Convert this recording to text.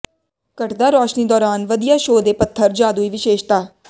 ਘਟਦਾ ਰੌਸ਼ਨੀ ਦੌਰਾਨ ਵਧੀਆ ਸ਼ੋਅ ਦੇ ਪੱਥਰ ਜਾਦੂਈ ਵਿਸ਼ੇਸ਼ਤਾ